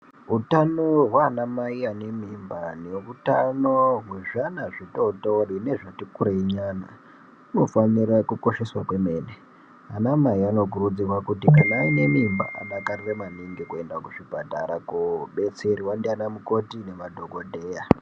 Utano waana mai ane mimba neutano wezvi ana zvitootori nezvati kurei nyana unofanirwa kukosheswa kwemene, ana mai anokurudzirwa kuti kana aine mimba adakarire maningi kuenda kuzvipatara koobetserwa ndiana mukoti nemadhokodheya.